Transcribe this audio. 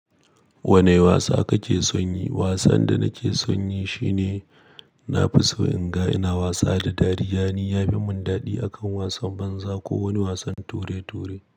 Wani wasa kake son yi? Wasan da nake son yi shine nafi so in ga ina wasa da dariya, ni ya fi mun dadi akan wasan banza ko wani wasan ture-ture.